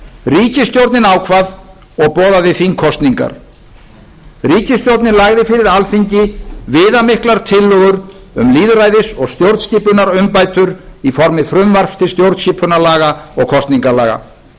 ríkisstjórnin ákvað og boðaði þingkosningar ríkisstjórnin lagði fyrir alþingi viðamiklar tillögur um lýðræðis og stjórnskipunarumbætur í formi frumvarps til stjórnskipunarlaga og kosningalaga frumvarp